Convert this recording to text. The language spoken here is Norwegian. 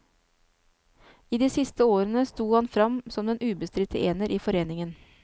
I de siste årene sto han frem som den ubestridte ener i foreningen.